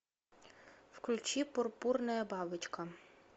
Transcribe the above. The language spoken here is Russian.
включи пурпурная бабочка